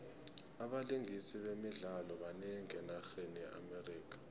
abalingisi bemidlalo banengi enarheni ye amerika